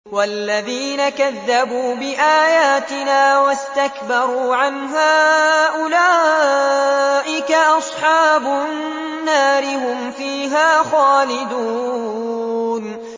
وَالَّذِينَ كَذَّبُوا بِآيَاتِنَا وَاسْتَكْبَرُوا عَنْهَا أُولَٰئِكَ أَصْحَابُ النَّارِ ۖ هُمْ فِيهَا خَالِدُونَ